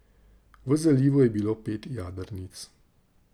V zalivu je bilo pet jadrnic.